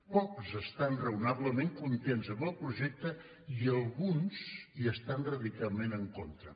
pocs estan raonablement contents amb el projecte i alguns hi estan radicalment en contra